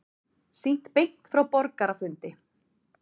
Sýnt beint frá borgarafundi